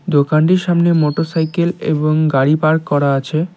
দোকানটির সামনে মোটরসাইকেল এবং গাড়ি পার্ক করা আছে।